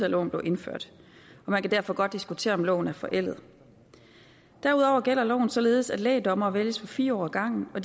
loven blev indført man kan derfor godt diskutere om loven er forældet derudover gælder loven således at lægdommere vælges for fire år ad gangen og